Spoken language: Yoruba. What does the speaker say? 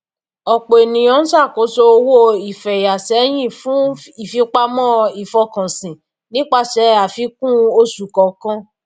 ọpọ ènìyàn ń ṣàkóso owó ìfẹyà sẹyìn fún ìfipamọ ìfọkànsìn nípasẹ àfikún oṣù kọọkan